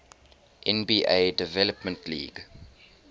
nba development league